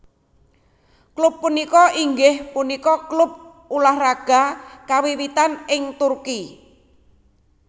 Klub punika inggih punika klub ulah raga kawiwitan ing Turki